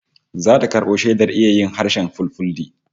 Zata karbo shaidar iya harshen Fulfulde